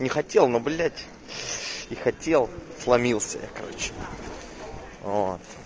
не хотел но блять и хотел сломился я короче вот